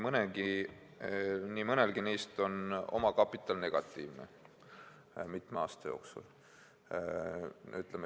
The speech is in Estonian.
Nii mõnelgi neist on omakapital negatiivne olnud mitme aasta jooksul.